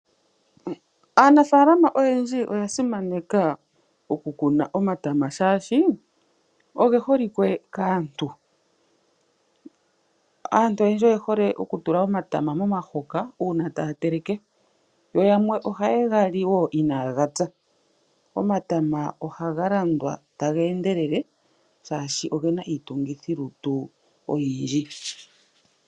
Aanafaalama oyendji oya simaneka oku kuna omatama shaashi oge holike kaantu. Aantu oyendji oye hole oku tula omatama momahoka uuna taya teleke, yo yamwe ohaye ga li wo inaaga pya. Omatama ohaga landwa taga endelele shaashi ogena iitungithi lutu oyindji.